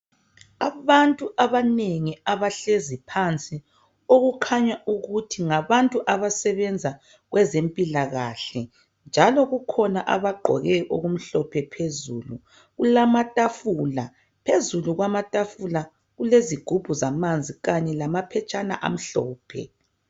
Abantu abanengi abahlezi phansi okukhanya ukuthi ngabantu abasebenza kwezempilakahle njalo kukhona abagqoke okumhlophe phezulu. Kulamatafula, phezulu kwamatafula kulezigubhu zamanzi kanye lamaphetshana amhlophe.